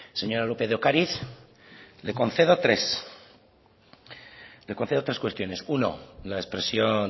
señora lópez de ocariz le concedo tres le concedo tres cuestiones uno la expresión